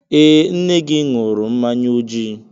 Ee, nne gị ṅụrụ mmanya ojii.